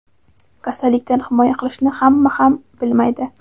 Kasallikdan himoya qilishni hamma ham bilmaydi.